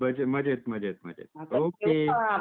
मजेत मजेत मजेत . ओके ..